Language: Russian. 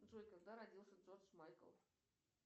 джой когда родился джордж майкл